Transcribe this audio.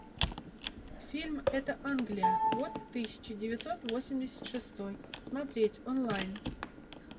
фильм это англия год тысяча девятьсот восемьдесят шестой смотреть онлайн